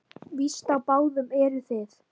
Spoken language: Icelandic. Víst á báðum eruð þið.